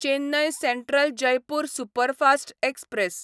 Chennai central Jaipur superfast express